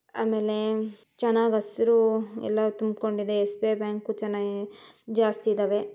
ಆಮೇಲೆ ಚೆನ್ನಾಗಿ ಹಸಿರು ಎಲ್ಲ ತುಂಬ್ಕೊಂಡಿದೆ ಎಸ್_ಬಿ_ಐ ಬ್ಯಾಂಕ್ ಚೆನ್ನಾಗಿ ಜಾಸ್ತಿ ಇದಾವೆ.